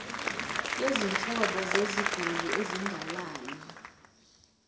yezinhlobo zeziguli ezingalali